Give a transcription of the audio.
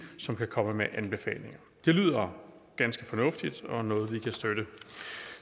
som kan komme med anbefalinger det lyder ganske fornuftigt og er noget vi kan støtte